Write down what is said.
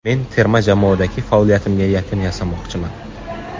Men terma jamoadagi faoliyatimga yakun yasamoqchiman.